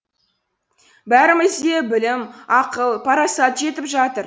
бәрімізде білім ақыл парасат жетіп жатыр